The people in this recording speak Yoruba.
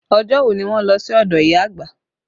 Ọjọ́ wo ni wọn lọ sí ọdọ ìyá àgbà?